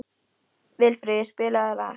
Vilfríður, spilaðu lag.